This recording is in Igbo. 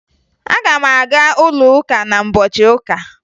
Aga m aga ụlọụka n'ụbọchị ụka